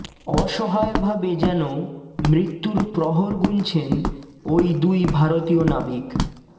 অসহায়ভাবে যেন মৃত্যুর প্রহর গুনছেন ওই দুই ভারতীয় নাবিক